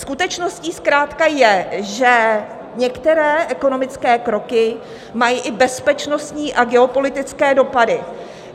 Skutečností zkrátka je, že některé ekonomické kroky mají i bezpečnostní a geopolitické dopady.